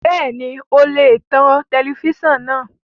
Bẹ́ẹ̀ni o lè tan tẹlẹfísàn náà